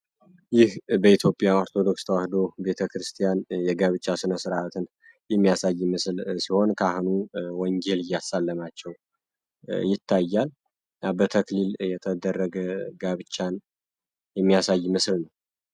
ይህ በኢትዮጵያ ኦርቶዶክስ ተዋህዶ ቤተ ክርስቲያን የጋብቻ ስነ ሥርዓትን የሚያሳይ ምስል ሲሆን ካህኑ ወንጌል እያሳለማቸው ይታያል በተክሊል የተደረገ ጋብቻን የሚያሳይ ምስል ነው።